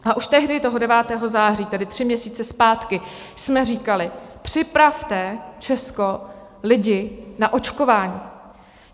A už tehdy, toho 9. září, tedy tři měsíce zpátky, jsme říkali: Připravte Česko, lidi na očkování.